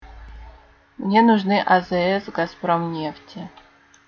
мне нужны а з с газпром нефти